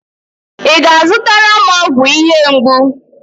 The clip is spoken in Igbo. Ị ga-azụtara m ọgwụ ihe mgbu.